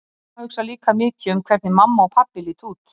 Amma hugsar líka mikið um hvernig mamma og pabbi líta út.